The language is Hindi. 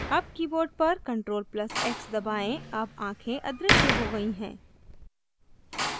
अब keyboard पर ctrl + x दबाएं अब आँखें अदृश्य हो गयी हैं